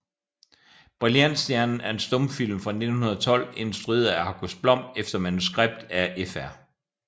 Brilliantstjernen er en stumfilm fra 1912 instrueret af August Blom efter manuskript af Fr